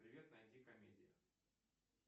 привет найди комедии